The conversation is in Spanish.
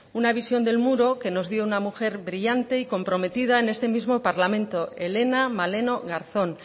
una visión del muro que nos dio una mujer brillante y comprometida en este mismo parlamento helena maleno garzón